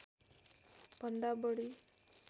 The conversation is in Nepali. भन्दा बढी